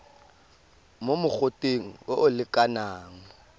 mo mogoteng o o lekanang